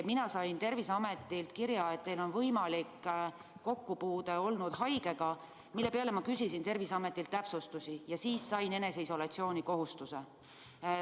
Mina sain Terviseametilt kirja, et olen võinud haigega kokku puutuda, mille peale ma küsisin Terviseametilt täpsustusi ja sain eneseisolatsiooni kohustuse.